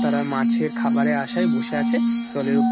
তারা মাছের খাবারের আসায় বসে আছে জলের উপর।